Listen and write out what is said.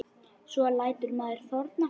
Svo lætur maður þorna.